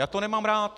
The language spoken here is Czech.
Já to nemám rád.